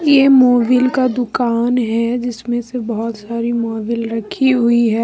ये मोबिल का दुकान है जिसमे से बहुत सारी मोबिल रखी हुई है ।